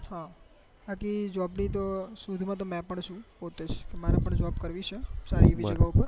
હા બાકી જોબ ની તો શોધ માં તો મેં પણ છુ પોતે જ મારે પણ જોબ કરવી છે સારી એવી જગ્યા પર